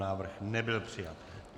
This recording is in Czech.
Návrh nebyl přijat.